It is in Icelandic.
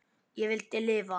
Ég vildi lifa.